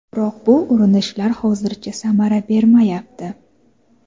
Biroq bu urinishlar hozircha samara bermayapti.